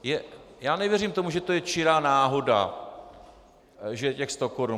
Já nevěřím tomu, že je to čirá náhoda, že těch sto korun.